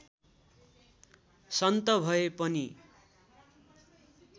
सन्त भए पनि